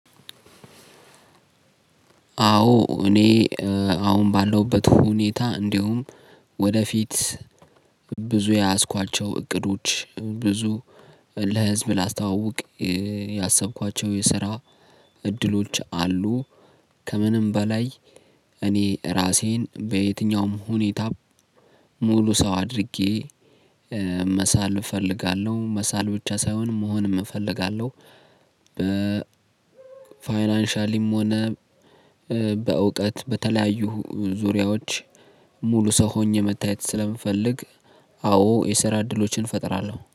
አዎ እኔ አሁን ባለውበት ሁኔታ እንዲሁም ወደፊት ብዙ የያዝኳቸው እቅዶች ብዙ ለህዝብ ላስተዋውቅ ያሰብኳቸው የስራ እድሎች አሉ። ከምንም በላይ እኔ ራሴን በየትኛውም ሁኔታ ሙሉ ሰው አድርጌ መሳል እፈልጋለሁ። መሳል ብቻ ሳይሆን መሆንም እፈልጋለሁ። በ ፋይናንሻሊም ሆነ በእውቀት በተለያዩ ዙሪያዎች ሙሉ ሰው ሆኜ መታየት ስለምፈልግ። አዎ የሰራ እድሎችን እፈጥራለሁ